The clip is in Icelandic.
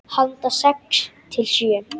Handa sex til sjö